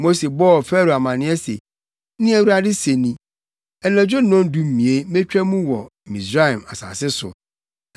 Mose bɔɔ Farao amanneɛ se, “Nea Awurade se ni, ‘Anadwo nnɔndumien metwa mu wɔ Misraim asase so.